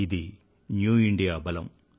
ఇది new India బలం